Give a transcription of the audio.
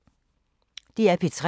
DR P3